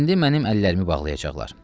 İndi mənim əllərimi bağlayacaqlar.